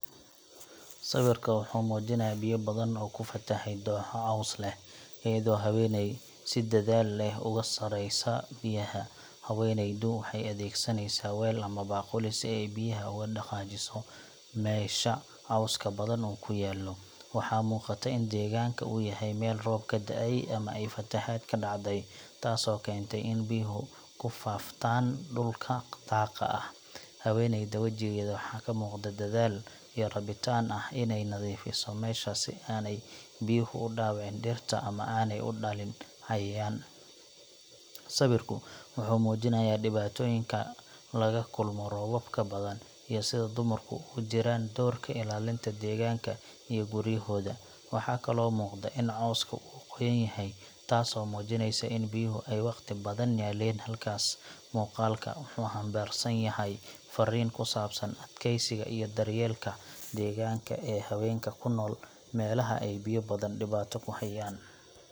Sawirka wuxuu muujinayaa biyo badan oo ku fatahay dooxo caws leh, iyadoo haweeney si dadaal leh uga saaraysa biyaha. Haweeneydu waxay adeegsanaysaa weel ama baaquli si ay biyaha uga dhaqaajiso meesha cawska badan uu ku yaallo. Waxaa muuqata in deegaanka uu yahay meel roob ka da’ay ama ay fatahaad ka dhacday, taasoo keentay in biyuhu ku faaftaan dhulka daaqa ah. Haweeneyda wejigeeda waxaa ka muuqda dadaal iyo rabitaan ah inay nadiifiso meesha si aanay biyuhu u dhaawicin dhirta ama aanay u dhalin cayayaan. Sawirku wuxuu muujinayaa dhibaatooyinka laga kulmo roobabka badan iyo sida dumarku ugu jiraan doorka ilaalinta deegaanka iyo guryahooda. Waxaa kaloo muuqda in cawska uu qoyan yahay, taasoo muujinaysa in biyuhu ay waqti badan yaaleen halkaas. Muuqaalka wuxuu xambaarsan yahay farriin ku saabsan adkaysiga iyo daryeelka deegaanka ee haweenka ku nool meelaha ay biyo badan dhibaato ku hayaan.